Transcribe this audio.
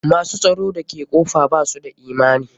Ma s u tsaro da ke kofa ba su da imani.